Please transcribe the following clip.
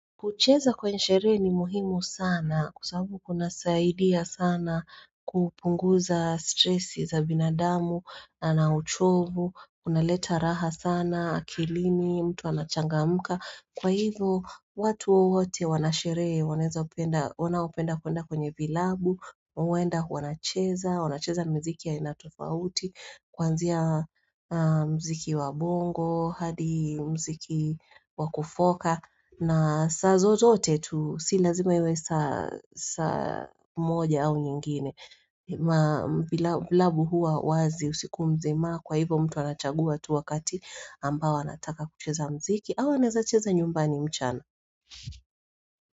Kucheza kwenye sherehe ni muhimu sana kwa sababu kunasaidia sana kupunguza stresi za binadamu na uchovu, kunaleta raha sana akilini, mtu anachangamka. Kwa hivyo, watu wowote wana sherehe, wanazopenda, wanaopenda kwenda kwenye vilabu, wao huenda wanacheza, wanacheza miziki ya aina tofauti, kuanzia muziki wa bongo hadi muziki wa kufoka, na saa zozote tu, si lazima iwe saa saa moja au nyingine. Vilabu huwa wazi usiku mzima kwa hivyo mtu anachagua tu wakati ambao anataka kucheza muziki, au anaweza cheza nyumbani mchana.